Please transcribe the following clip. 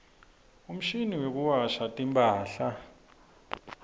umshini wekuwasha timphahla